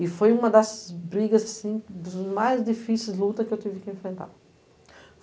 E foi uma das brigas, assim, das mais difíceis lutas que eu tive que enfrentar.